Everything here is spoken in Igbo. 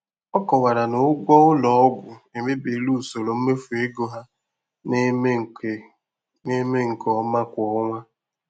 Ọ kọwara na ụgwọ ụlọ ọgwụ emebiela usoro mmefu ego ha na-eme nke na-eme nke ọma kwa ọnwa.